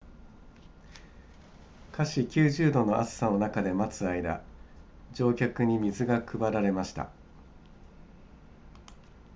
華氏90度の暑さの中で待つ間乗客に水が配られました